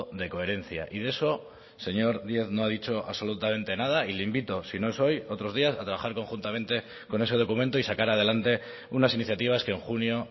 de coherencia y de eso señor díez no ha dicho absolutamente nada y le invito si no es hoy otros días a trabajar conjuntamente con ese documento y sacar adelante unas iniciativas que en junio